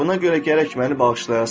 Buna görə gərək məni bağışlayasan.